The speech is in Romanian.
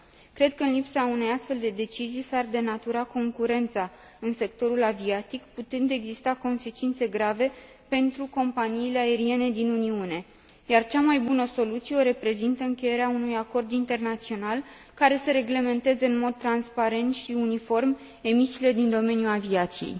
Cred că în lipsa unei astfel de decizii s ar denatura concurența în sectorul aviatic, putând exista consecințe grave pentru companiile aeriene din Uniune, iar cea mai bună soluție o reprezintă încheierea unui acord internațional care să reglementeze în mod transparent și uniform emisiile din domeniul aviației.